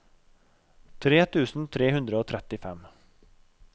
tre tusen tre hundre og trettifem